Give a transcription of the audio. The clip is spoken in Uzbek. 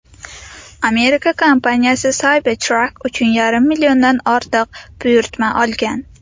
Amerika kompaniyasi Cybertruck uchun yarim milliondan ortiq buyurtma olgan .